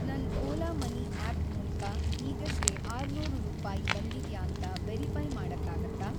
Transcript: ನನ್‌ Ola money app ಮೂಲ್ಕ ಈಗಷ್ಟೇ ೬೦೦ ರೂಪಾಯಿ ಬಂದಿದ್ಯಾ ಅಂತ ವೆರಿಫೈ಼ ಮಾಡಕ್ಕಾಗತ್ತಾ?